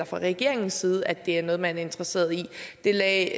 fra regeringens side at det er noget man er interesseret i det lagde